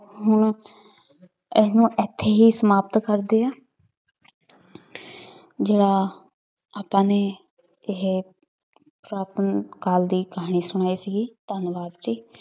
ਹੁਣ ਇਹਨੂੰ ਇੱਥੇ ਹੀ ਸਮਾਪਤ ਕਰਦੇ ਹਾਂ ਜਿਹੜਾ ਆਪਾਂ ਨੇ ਇਹ ਪੁਰਾਤਨ ਕਾਲ ਦੀ ਕਹਾਣੀ ਸੁਣਾਈ ਸੀਗੀ, ਧੰਨਵਾਦ ਜੀ।